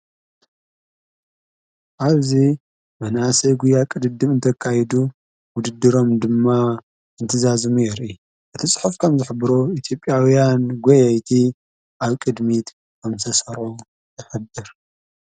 ኣብዙ መናእሰይ ጕያ ቕድድም እንተካይዱ ውድድሮም ድማ እንትዛዝሙ ይርኢ እቲ ጽሑፍ ከም ዝኅብሮ ኢቲጴያውያን ጐየይቲ ኣብ ቅድሚት ከምተሠርዑ የኅብር።